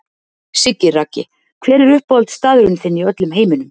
Siggi Raggi Hver er uppáhaldsstaðurinn þinn í öllum heiminum?